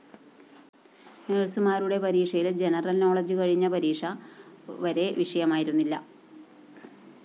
നഴ്‌സുമാരുടെ പരീക്ഷയില്‍ general knowledge കഴിഞ്ഞ പരീക്ഷ വരെ വിഷയമായിരുന്നില്ല